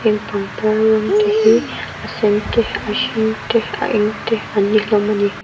heng pangpar rawng te hi a sen te a eng te an ni hlawm ani.